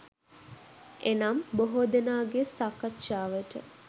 එනම්, බොහෝ දෙනාගේ සාකච්ඡාවට